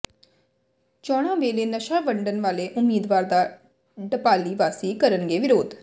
ਚੋਣਾਂ ਵੇਲੇ ਨਸ਼ਾ ਵੰਡਣ ਵਾਲੇ ਉਮੀਦਵਾਰ ਦਾ ਢਪਾਲੀ ਵਾਸੀ ਕਰਨਗੇ ਵਿਰੋਧ